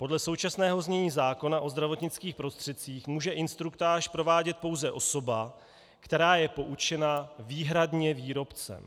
Podle současného znění zákona o zdravotnických prostředcích může instruktáž provádět pouze osoba, která je poučena výhradně výrobcem.